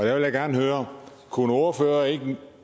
jeg vil gerne høre kunne ordføreren